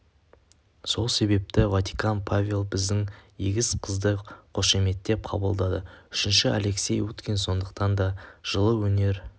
сол себепті ватикан павел біздің егіз қызды қошеметтеп қабылдады үшіншісі алексей уткин сондықтан да жылы өнер